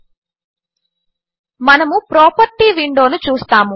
000549 000548 మనము ప్రాపర్టీస్ విండోను చూస్తాము